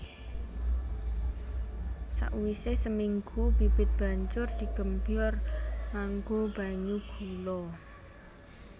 Sakwisé seminggu bibit banjur digembyor nganggo banyu gula